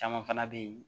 Caman fana bɛ yen